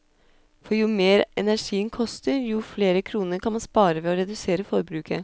For jo mer energien koster, jo flere kroner kan man spare ved å redusere forbruket.